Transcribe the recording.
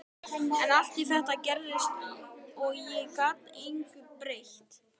En allt þetta gerðist og ég gat engu breytt.